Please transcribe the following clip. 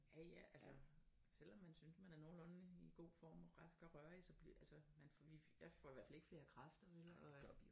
Ja ja altså selvom man synes man er nogenlunde i god form rask og rørig så bliver altså man får vi jeg får i hvert fald ikke krafter vel og